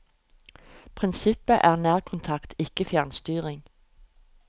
Prinsippet er nærkontakt, ikke fjernstyring.